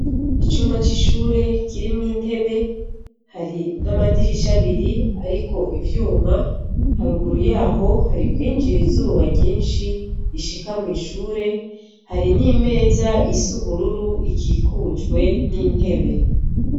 Icumba c'ishure kirimw'intebe, hari n'amadirish'abir'arik'ivyuma, harugiru yaho harikwinjir'izuba ryinshi rishika mw'ishure, hari n'imez'is'uburur'ikikujwe n'intebe.